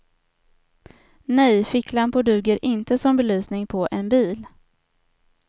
Nej, ficklampor duger inte som belysning på en bil.